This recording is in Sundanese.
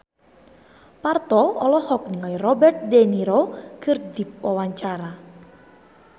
Parto olohok ningali Robert de Niro keur diwawancara